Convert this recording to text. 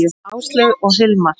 Áslaug og Hilmar.